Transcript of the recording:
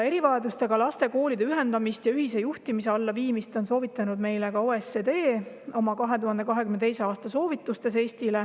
Erivajadustega laste koolide ühendamist ja ühise juhtimise alla viimist on meile soovitanud ka OECD oma 2022. aasta soovitustes.